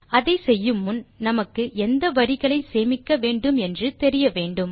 அதை செய்யு முன் நமக்கு எந்த வரிகளை சேமிக்க வேன்டும் என்று தெரிய வேன்டும்